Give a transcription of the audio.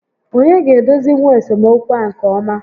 Onye ga-edozinwu esemokwu a nke ọma?